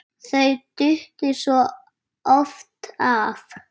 Þau duttu svo oft af.